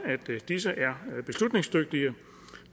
at disse er beslutningsdygtige